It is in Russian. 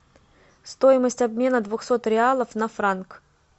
стоимость обмена двухсот реалов на франк